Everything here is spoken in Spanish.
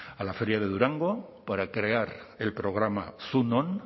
a la feria de durango para crear el programa zu non